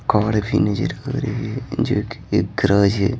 काड़ भी नजर आ रही है जो कि एक गराज है।